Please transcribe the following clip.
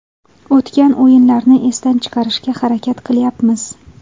O‘tgan o‘yinlarni esdan chiqarishga harakat qilyapmiz.